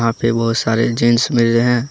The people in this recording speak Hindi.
पे बहुत सारे जींस मिले रहे हैं।